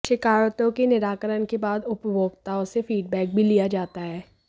शिकायतों के निराकरण के बाद उपभोक्ताओं से फीडबेक भी लिया जाता है